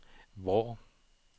Vrå